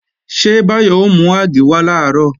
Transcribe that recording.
Ṣé Báyọ̀ ó mú àgé wá làárọ̀?